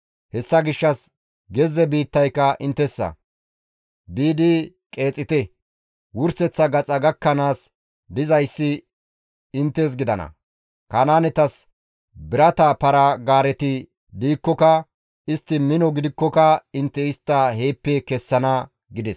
Hessa gishshas gezze biittayka inttessa; biidi qeexite; wurseththa gaxa gakkanaas dizayssi inttes gidana; Kanaanetas birata para-gaareti diikkoka, istti mino gidikkoka intte istta heeppe kessana» gides.